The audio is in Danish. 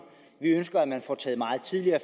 vi ønsker at man får taget meget tidligere